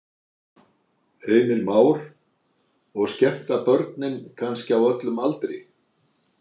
Heimir Már: Og skemmta börnum kannski á öllum aldri?